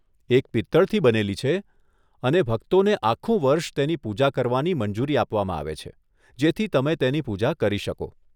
એક પિત્તળથી બનેલું છે અને ભક્તોને આખું વર્ષ તેની પૂજા કરવાની મંજૂરી આપવામાં આવે છે, જેથી તમે તેની પૂજા કરી શકો.